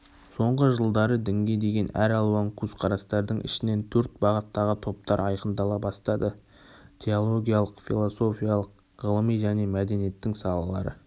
соңғы жылдары дінге деген әр алуан көзқарастардың ішінен төрт бағыттағы топтар айқындала бастады теологиялық философиялық ғылыми және мәдениеттің салалары